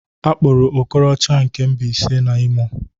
Akpụrụ Okorocha nke Mbaise na Imo